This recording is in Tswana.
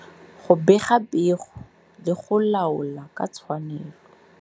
Go bega pego le go laola ka tshwanelo.